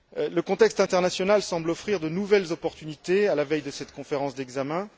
Le contexte international semble offrir de nouvelles opportunités à la veille de cette conférence d'examen.